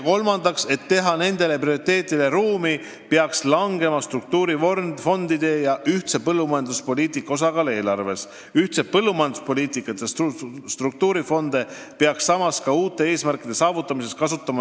Kolmandaks, et teha seatud prioriteetidele ruumi, peaks vähenema struktuurifondide ja ühise põllumajanduspoliitika summade osakaal eelarves.